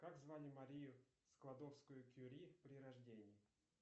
как звали марию складовскую кюри при рождении